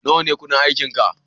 Nawa ne kudin aikinka?